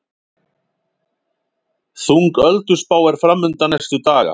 Þung ölduspá er framundan næstu daga